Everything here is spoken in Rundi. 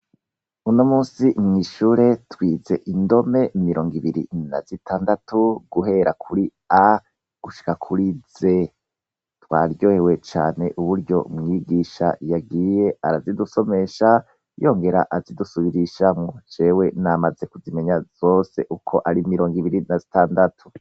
Uno musi mw'ishure twize indome mirongo ibiri na zitandatu guhera kuri a gushika kuri ze twaryoyewe cane uburyo mwigisha yagiye arazidusomesha yongera azidusubirisha mwo cewe namaze kuzimenya zose uko ari mirongo ibiri na standatu.